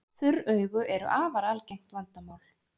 Þurr augu eru afar algengt vandamál.